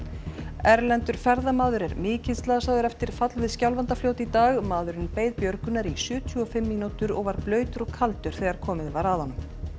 erlendur ferðamaður er mikið slasaður eftir fall við Skjálfandafljót í dag maðurinn beið björgunar í sjötíu og fimm mínútur og var blautur og kaldur þegar komið var að honum